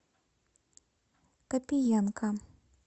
копиенко